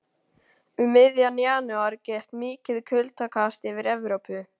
Um miðjan janúar gekk mikið kuldakast yfir Evrópu.